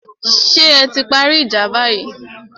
Ṣé ẹ ti parí ìjà báyìí?